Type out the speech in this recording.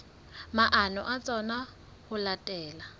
maano a tsona ho latela